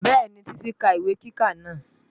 Bẹ́ẹ̀ni, Titi ti ka ìwé kíkà náà